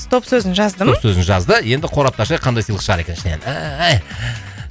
стоп сөзін жаздым стоп сөзін жазды енді қорапты ашайық қандай сыйлық шығар екен ішінен